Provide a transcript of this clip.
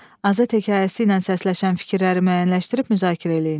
Azad hekayəsi ilə səsləşən fikirləri müəyyənləşdirib müzakirə eləyin.